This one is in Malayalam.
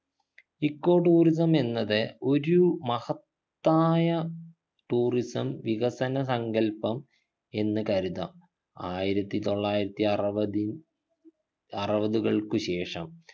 echo tourism എന്നത് ഒരു മഹത്തായ tourism വികസന സങ്കൽപ്പം എന്ന് കരുതാം ആയിരത്തി തൊള്ളായിരത്തി അറുപതിൽ അറുപതുകൾക്കു ശേഷം